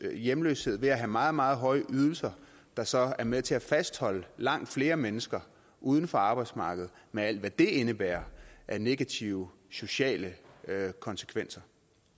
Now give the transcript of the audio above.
hjemløshed ved at have meget meget høje ydelser der så er med til at fastholde langt flere mennesker uden for arbejdsmarkedet med alt hvad det indebærer af negative sociale konsekvenser